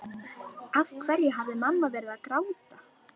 Af hverju hafði mamma verið að gráta?